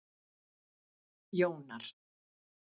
Jónar